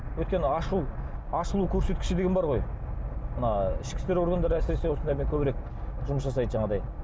өйткені ашу ашылу көрсеткіші деген бар ғой мына ішкі істер органдары әсіресе осындаймен көбірек жұмыс жасайды жаңағындай